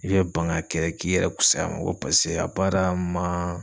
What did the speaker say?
I be ban ka kɛ k'i yɛrɛ kusaya ma ko paseke a baara ma